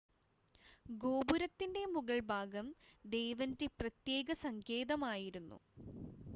ഗോപുരത്തിൻ്റെ മുകൾഭാഗം ദേവൻ്റെ പ്രത്യേക സങ്കേതമായിരുന്നു